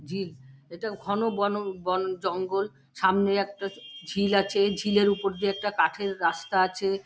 ঝিল এটা ঘন বনো বন জঙ্গল সামনে একটা ঝিল আছে ঝিলের উপর দেয়া একটা কাঠের রাস্তা আছে।